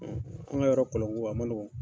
An ka yɔrɔ kɔlon ko a man nɔgɔ